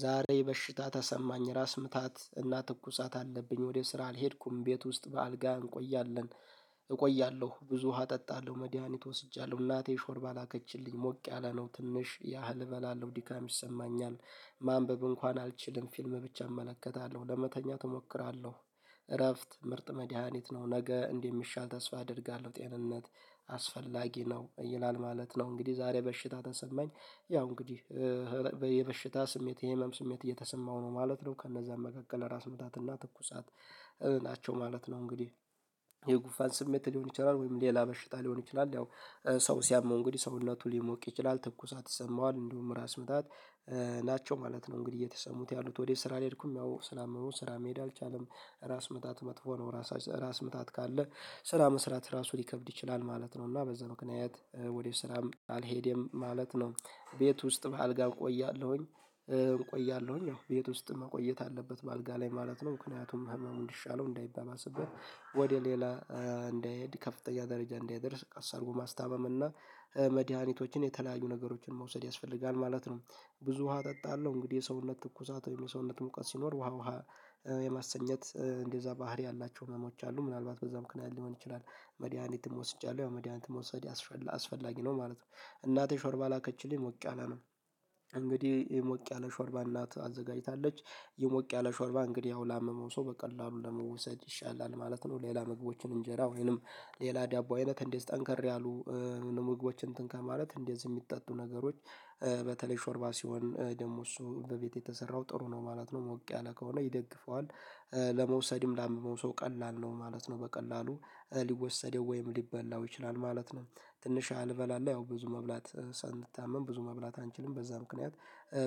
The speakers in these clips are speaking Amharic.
ዛሬ በሽታ ተሰማኝ ራስ ምታት እና ትኩሳት አለብኝ ወደ ስራ አልሄድኩም ቤት ውስጥ በአልጋ እንቆያለን። እቆያለሁ ብዙ ውሃ እጠጣለሁ መድሃኒት ወስጃለሁ እናቴ ሾርባ ላከችልኝ ሞቅ ያለ ነው ትንሽ ያህል እበላለሁ ድካም ይሰማኛል። ማንበብ እንኳን አልችልም ፊልም ብቻ እመለከታለሁ ለመተኛት እሞክራለሁ። እረፍት ምርጥ መድሃኒት ነው ነገ እንደሚሻል ተስፋ አደርጋለሁ። ጤንነት አስፈላጊ ነው ነው ይላል ማለት ነው። እንግዲህ ዛሬ በሽታ ተሰማኝ ያው እንግዲህ በየበሽታ ስሜት የህመም ስሜት እየተሰማው ነው ማለት ነው። ከነዛም መካከል ራስ ምታትና ትኩሳት ናቸው ማለት ነው። እንግዲህ የጉፋን ስሜት ሊሆን ይችላል ወይም ሌላ በሽታ ሊሆን ይችላል። ያው ሰው ሲያመው እንግዲህ ሰውነቱ ሊሞቅ ይችላል ትኩሳት ይሰማዋል እንዲሁም ራስ ምታት። ናቸው ማለት ነው እንግዲህ እየተሰሙት ያሉት ወደ ስራ አልሄድኩም። ያው ስላመመው ስራ መሄድ አልቻለም። ራስ ምታት መጥፎ ነው። ራስ ራስ ምታት ካለ ስራ መስራት ራሱ ሊከብድ ይችላል ማለት ነው። እና በዛ ምክንያት ወደ ስራም አልሄደም ማለት ነው። ቤት ውስጥ በአልጋ እቆያለሁኝ። ያው ቤት ውስጥ መቆየት አለበት በአልጋ ላይ ማለት ነው። ምክንያቱም ህመሙን እንዲሻለው እንዳይባባስብት ወደ ሌላ እንዳይሄድ ከፍተኛ ደረጃ እንዲይደርስ ቀስ አድርጎ ማስታመም እና መድሃኒቶችን የተለያዩ ነገሮችን መውሰድ ያስፈልጋል ማለት ነው። ብዙ ውሃ እጠጣለሁ እንግዲህ የሰውነት ትኩሳት ወይም የሰውነት ሙቀት ሲኖር ውሃ ውሃ የማሰኘት እንደዛ ባህሪ ያላቸው ህመሞች አሉ ምናልባት በዛም ምክንያት ሊሆን ይችላል። መድያኒትም ወስጃለሁ ያው መድያኒትም ወሰድ ያስፈልጋል አስፈላጊ ነው ማለት ነው። እናቴ ሾርባ ላከችልኝ ሞቅ ያለ ነው እንግዲህ የሞቅ ያለ ሾርባ እናት አዘጋጅታለች። የሞቅ ያለ ሾርባ እንግዲህ አሁን ላመመው ሰው በቀላሉ ለመውሰድ ይሻላል ማለት ነው። ሌላ ምግቦችን እንጀራ ወይንም ሌላ ዳቦ አይነት እንዴት ጠንከር ያሉ ምግቦችን እንትን ከማለት እንደዚህ የሚጠጡ ነገሮች። በተለይ ሾርባ ሲሆን ደግሞ እሱ በቤቴ የተሰራው ጥሩ ነው ማለት ነው። ሞቅ ያለ ከሆነ ይደግፈዋል። ለመውሰድም ላመመው ሰው ቀላል ነው ማለት ነው። በቀላሉ ሊወሰደው ወይም ሊበላው ይችላል ማለት ነው። ትንሽ አልበላለሁ ያው ብዙ መብላት ሳንታመም ብዙ መብላት አንችልም በዛ ምክንያት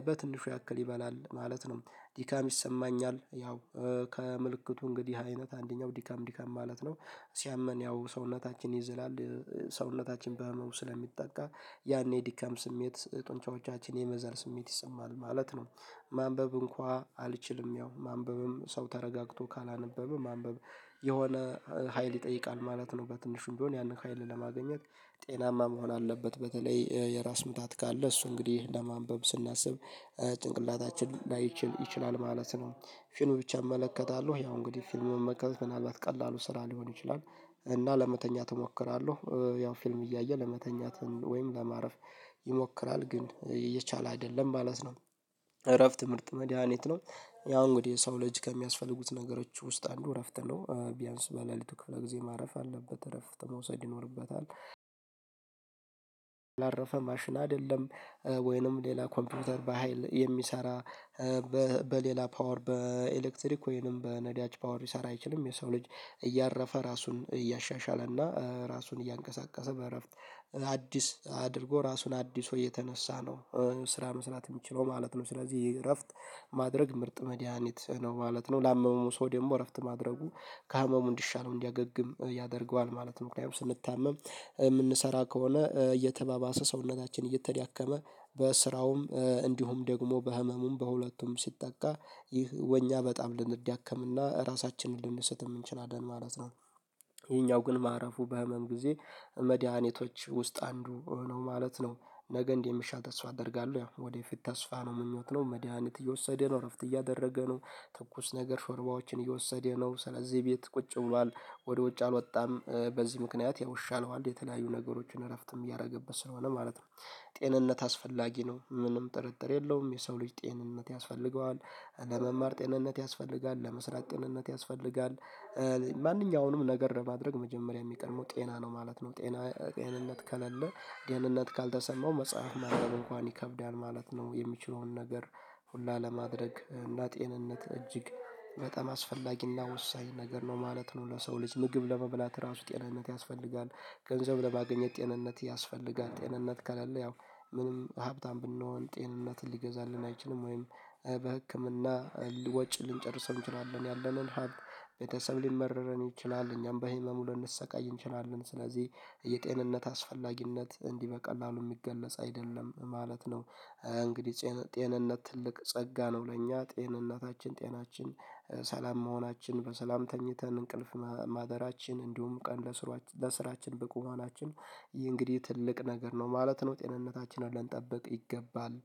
በትንሹ ያክል ይበላል ማለት ነው። ዲካም ይሰማኛል ያው ከምልክቱ እንግዲህ አይነት አንደኛው ዲካም ዲካም ማለት ነው። ሲያመን ያው ሰውነታችን ይዘላል። ሰውነታችን በህመው ስለሚጠቃ ያኔ የድካም ስሜት ጡንቻዎቻችን የመዛል ስሜት ይሰማል ማለት ነው። ማንበብ እንኳን አልችልም ያው ማንበብም ሰው ተረጋግቶ ካላነበበ ማንበብ የሆነ ሀይል ይጠይቃል ማለት ነው። በትንሹም ቢሆን ያንን ሀይል ለማግኘት ጤናማ መሆን አለበት። በተለይ የራስ ምታት ካለ እሱ እንግዲህ ለማንበብ ስናስብ ጭንቅላታችን ላይችል ይችላል ማለት ነው። ፊልም ብቻ እመለከታለሁ ያው እንግዲህ ፊልም መመልከት ምናልባት ቀላሉ ስራ ሊሆን ይችላል። እና ለመተኛት እሞክራለሁ። ያው ፊልም እያየ ለመተኛት ወይም ለማረፍ ይሞክራል ግን የቻለ አይደለም ማለት ነው። እረፍት ምርጥ መድሃኒት ነው። ያው እንግዲህ ሰው ልጅ ከሚያስፈልጉት ነገሮች ውስጥ አንዱ እረፍት ነው። ቢያንስ በለሊቱ ክፍለ ጊዜ ማረፍ አለበት እረፍት መውሰድ ይኖርበታል። ላረፈ ማሽን አይደለም። ወይንም ሌላ ኮምፒውተር በሃይል የሚሰራ በሌላ ፓወር በኤሌክትሪክ ወይንም በነዳጅ ፓወር ሊሰራ አይችልም። የሰው ልጅ እያረፈ ራሱን እያሻሻለ እና ራሱን እያንቀሳቀሰ በእረፍት አዲስ አድርጎ ራሱን አድሶ የተነሳ ነው። ስራ መስራት የምችለው ማለት ነው። ስለዚህ እረፍት ማድረግ ምርጥ መድሃኒት ነው ማለት ነው። ላመመው ሰው ደግሞ እረፍት ማድረጉ ከህመሙ እንዲሻለው እንዲያገግም ያደርገዋል ማለት ነው። ምክንያቱም ስንታመም የምንሰራ ከሆነ እየተባባሰ ሰውነታችን እየተዳከመ በስራውም እንዲሁም ደግሞ በህመሙም በሁለቱም ሲጠቃ ይህ ወኛ በጣም ልንዳከምና ራሳችንን ልንሰጥም እንችላለን ማለት ነው። ይሄኛው ግን ማረፉ በህመም ጊዜ መድኃኒቶች ውስጥ አንዱ ነው ማለት ነው። ነገ እንዴ የሚሻት እሷ አደርጋለሁ ያ ወደፊት ተስፋ ነው ምኞት ነው መድሃኒት እየወሰደ ነው እረፍት እያደረገ ነው። ትኩስ ነገር ሾርባዎችን እየወሰደ ነው ስለዚህ ቤት ቁጭ ብሏል ወደ ውጭ አልወጣም። በዚህ ምክንያት ያው ይሻለዋል የተለያዩ ነገሮችን እረፍትም እያደረገበት ስለሆነ ማለት ነው። ጤንነት አስፈላጊ ነው ምንም ጥርጥር የለውም የሰው ልጅ ጤንነት ያስፈልገዋል። ለመማር ጤንነት ያስፈልጋል ለመስራት ጤንነት ያስፈልጋል። ማንኛውንም ነገር ለማድረግ መጀመሪያ የሚቀድመው ጤና ነው ማለት ነው። ጤና ጤንነት ከሌለ ጤንነት ካልተሰማው መጽሐፍ ማድረግ እንኳን ይከብዳል ማለት ነው። የሚችለውን ነገር ሁላ ለማድረግ እና ጤንነት እጅግ በጣም አስፈላጊና ወሳኝ ነገር ነው ማለት ነው። ለሰው ልጅ ምግብ ለመብላት ራሱ ጤንነት ያስፈልጋል። ገንዘብ ለማገኘት ጤንነት ያስፈልጋል ጤንነት ከሌለ ያው ምንም ሀብታም ብንሆን ጤንነትን ሊገዛልን አይችልም። ወይም በህክምና ወጪ ልንጨርሰው እንችላለን ያለንን ሀብት ቤተሰብ ሊመረረን ይችላል እኛም በህመሙ ልንሰቃይ እንችላለን። ስለዚህ የጤንነት አስፈላጊነት እንዲህ በቀላሉ የሚገለጽ አይደለም ማለት ነው። እንግዲህ ጤንነት ትልቅ ጸጋ ነው። ለእኛ ጤንነታችን ጤናችን ሰላም መሆናችን በሰላም ተኝተን እንቅልፍ ማደራችን እንዲሁም ቀን ለስራችን በቁማናችን ይህ እንግዲህ ትልቅ ነገር ነው ማለት ነው። ጤንነታችንን ልንጠብቅ ይገባል።